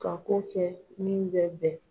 Ka ko kɛ min bɛ bɛn